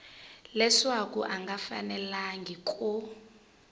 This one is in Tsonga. leswaku a nga fanelangi ku